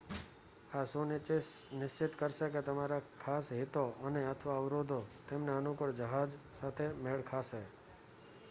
આ સુનિશ્ચિત કરશે કે તમારા ખાસ હિતો અને/અથવા અવરોધો તેમને અનુકૂળ જહાજ સાથે મેળ ખાશે